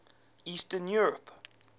eastern europe